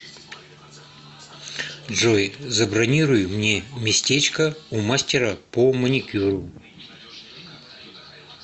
джой забронируй мне местечко у мастера по маникюру